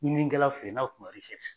Ɲininkɛlaw fe ye n'a be f'o ma ko eresɛrisi